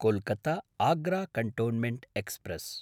कोल्कत्ता–आग्रा cantonment express